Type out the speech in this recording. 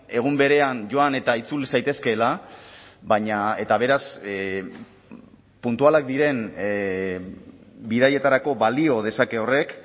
egun berean joan eta itzul zaitezkeela baina eta beraz puntualak diren bidaietarako balio dezake horrek